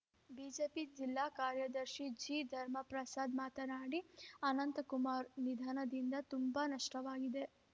BJP ಜಿಲ್ಲಾ ಕಾರ್ಯದರ್ಶಿ ಜಿ ಧರ್ಮಪ್ರಸಾದ್‌ ಮಾತನಾಡಿ ಅನಂತಕುಮಾರ್‌ ನಿಧನದಿಂದ ತುಂಬಾ ನಷ್ಟವಾಗಿದೆ